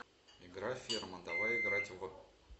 игра ферма давай играть в